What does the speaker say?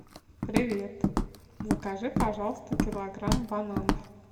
привет закажи пожалуйста килограмм бананов